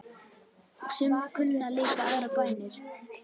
Sum kunna líka aðrar bænir.